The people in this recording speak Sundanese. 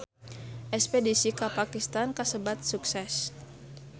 Espedisi ka Pakistan kasebat sukses